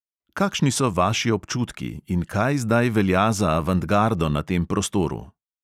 Kakšni so vaši občutki in kaj zdaj velja za avantgardo na tem prostoru?